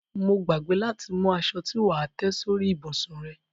Mo gbàgbé láti mú aṣo tí wà á tẹ́ sórí ìbùsùn rẹ.